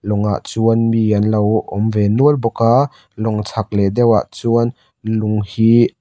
lawng ah chuan mi anlo awm ve nual bawk a lawng chhak leh deuhah chuan lung hi --